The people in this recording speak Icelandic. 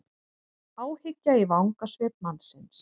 Áhyggja í vangasvip mannsins.